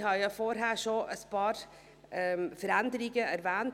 Ich habe vorhin schon ein paar Veränderungen erwähnt.